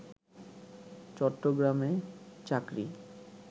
চট্টগ্রামে চাকরি